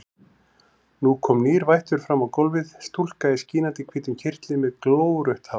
Nú kom nýr vættur fram á gólfið, stúlka í skínandi hvítum kyrtli með glórautt hár.